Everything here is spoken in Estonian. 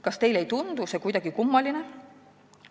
Kas teile ei tundu see kuidagi kummaline?